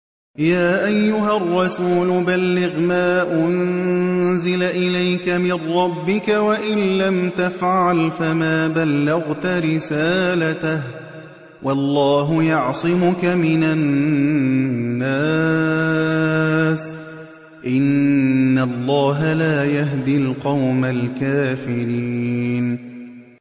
۞ يَا أَيُّهَا الرَّسُولُ بَلِّغْ مَا أُنزِلَ إِلَيْكَ مِن رَّبِّكَ ۖ وَإِن لَّمْ تَفْعَلْ فَمَا بَلَّغْتَ رِسَالَتَهُ ۚ وَاللَّهُ يَعْصِمُكَ مِنَ النَّاسِ ۗ إِنَّ اللَّهَ لَا يَهْدِي الْقَوْمَ الْكَافِرِينَ